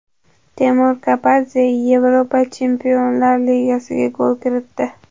Temur Kapadze Yevropa chempionlar ligasida gol kiritdi.